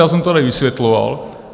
Já jsem to tady vysvětloval.